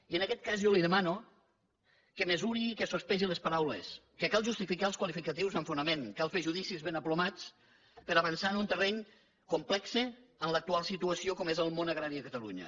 i en aguest cas jo li demano que mesuri i que sospesi les paraules que cal justificar els qualificatius amb fonament cal fer judicis ben aplomats per avançar en un terreny complex en l’actual situació com és el món agrari a catalunya